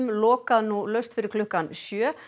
lokað nú laust fyrir klukkan sjö